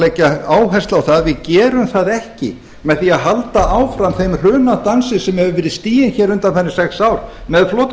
leggja áherslu á að við gerum það ekki með því að halda áfram þeim hrunadansi sem hefur verið stiginn hér undanfarin sex ár með